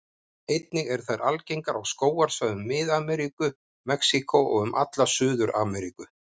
Einnig eru þær algengar á skógarsvæðum Mið-Ameríku, Mexíkó og um alla Suður-Ameríku.